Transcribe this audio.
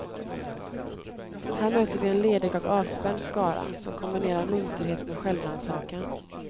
Här möter vi en ledig och avspänd skara, som kombinerar munterhet med självrannsakan.